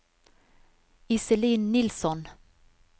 Iselin Nilsson